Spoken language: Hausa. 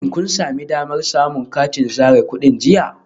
Shin kun sami damar samun katin zare kudi jiya?